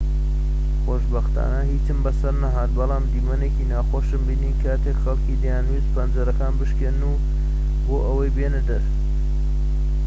خۆشبەختانە هیچم بەسەردا نەهات بەڵام دیمەنێکی ناخۆشم بینی کاتێک خەڵکی دەیانویست پەنجەرەکان بشکێنن بۆ ئەوەی بێنەدەر